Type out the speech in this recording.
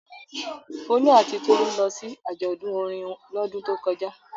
Folú àti Tolú lọ sí àjọ̀dún orin lọ́dún tó kọjá.